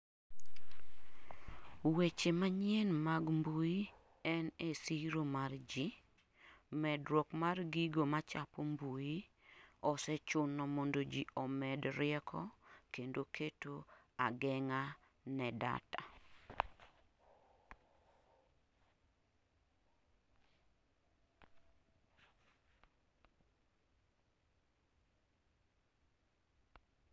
Weche manyien mag mbui en e siro mar ji, medruok mar gigo machapo mbui osechuno mondo ji omed rieko kendo keto ageng'a ne data. ith technology being the backbone of our society, rising cyber threats necessitate increased awareness and proactive data security measures.